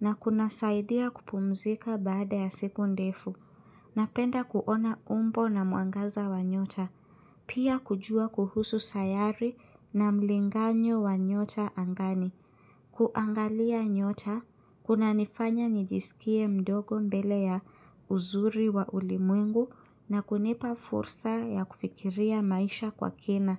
na kunasaidia kupumzika baada ya siku ndefu. Napenda kuona umbo na mwangaza wa nyota, pia kujua kuhusu sayari na mlinganyo wa nyota angani. Kuangalia nyota, kunanifanya nijisikie mdogo mbele ya uzuri wa ulimwengu na kunipa fursa ya kufikiria maisha kwa kina.